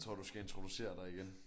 Jeg tror du skal introducere dig igen